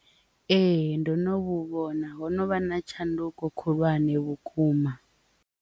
Ee, ndo no vhona ho no vha na tshanduko khulwane vhukuma.